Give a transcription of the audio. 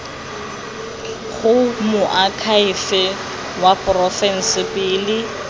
go moakhaefe wa porofense pele